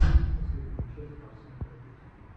последняя часть арсэн харапетян